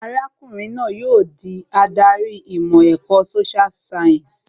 Arákùnrin náà ni yóò di adarí ìmọ̀ ẹ̀kọ́ social science